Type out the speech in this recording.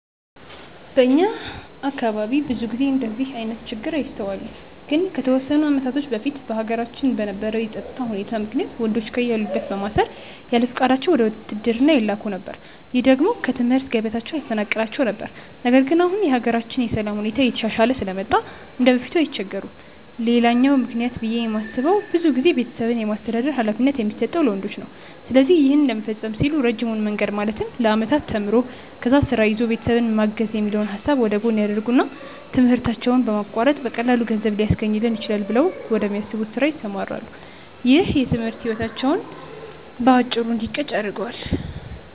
በእኛ አካባቢ ብዙ ጊዜ እንደዚህ አይነት ችግር አይስተዋልም። ግን ከተወሰኑ አመታቶች በፊት በሀገራችን በነበረው የፀጥታ ሁኔታ ምክንያት ወንዶችን ከያሉበት በማሰር ያለፍቃዳቸው ወደ ውትድርና ይላኩ ነበር። ይህ ደግሞ ከትምህርት ገበታቸው ያፈናቅላቸው ነበር። ነገር ግን አሁን የሀገራችን የሰላም ሁኔታ እየተሻሻለ ስለመጣ እንደበፊቱ አይቸገሩም። ሌላኛው ምክንያት ብዬ የማስበው ብዙ ጊዜ ቤተሰብን የማስተዳደር ሀላፊነት የሚሰጠው ለወንዶች ነው። ስለዚህ ይህን ለመፈፀም ሲሉ ረጅሙን መንገድ ማለትም ለአመታት ተምሮ፣ ከዛ ስራ ይዞ ቤተሰብን ማገዝ የሚለውን ሀሳብ ወደጎን ያደርጉትና ትምህርታቸውን በማቋረጥ በቀላሉ ገንዘብ ሊያስገኝልኝ ይችላል ብለው ወደሚያስቡት ስራ ይሰማራሉ። ይህም የትምህርት ህይወታቸው በአጭሩ እንዲቀጭ ያደርገዋል።